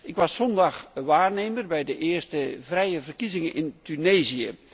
Ik was zondag waarnemer bij de eerste vrije verkiezingen in Tunesië.